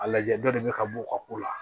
A lajɛ dɔ de bɛ ka bɔ u ka ko la